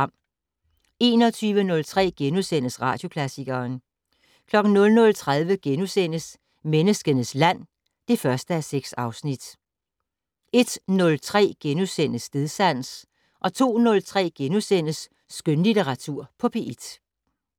21:03: Radioklassikeren * 00:30: Menneskenes land (1:6)* 01:03: Stedsans * 02:03: Skønlitteratur på P1 *